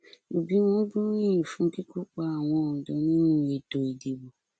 òbíwọn gbóríyìn fún kíkópa àwọn ọdọ nínú ètò ìdìbò